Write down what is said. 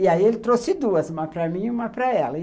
E aí ele trouxe duas, uma para mim e uma para ela.